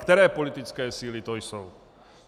Které politické síly to jsou.